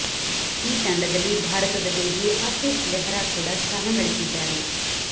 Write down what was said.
ಈ ತಂಡದಲ್ಲಿ ಭಾರತದ ವೇಗಿ ಆಶಿಶ್ ನೇಹ್ರಾ ಕೂಡ ಸ್ಥಾನ ಗಳಿಸಿದ್ದಾರೆ